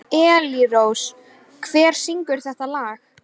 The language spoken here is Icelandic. Elírós, hver syngur þetta lag?